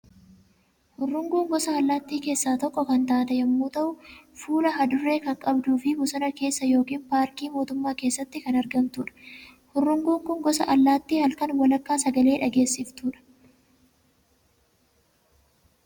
Hurunguun gosa allaattii keessaa tokko kan taate yommuu ta'u, fuula hadurree kan qabduu fi bosona keessa yookiin paarkii mootummaa keessatti kan argamtudha. Hurunguun kun gosa allaatti halkan walakkaa sagalee dhageesiftudha.